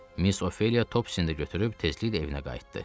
Miss Ofeliya Tobsini də götürüb tezliklə evinə qayıtdı.